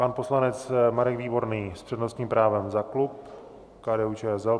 Pan poslanec Marek Výborný s přednostním právem za klub KDU-ČSL.